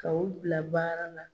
Ka u bila baara la